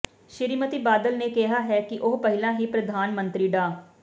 ਸ੍ਰੀਮਤੀ ਬਾਦਲ ਨੇ ਕਿਹਾ ਹੈ ਕਿ ਉਹ ਪਹਿਲਾਂ ਹੀ ਪ੍ਰਧਾਨ ਮੰਤਰੀ ਡਾ